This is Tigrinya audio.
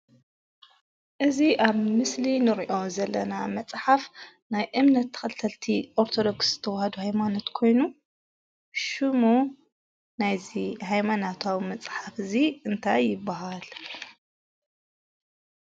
እዚ ኣብ ምስሊ ንሪኦ ዘለና መፅሓፍ ናይ እምነት ተኸተልቲ ኦርቶዶክስ ተዋህዶ ሃይማኖት ኮይኑ ሽሙ ናይዚ ሃይማኖታዊ መፅሓፍ እዚ እንታይ ይብሃል?